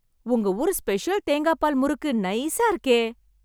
உங்க ஊரு ஸ்பெஷல் தேங்காப்பால் முறுக்கு நைஸா இருக்கே...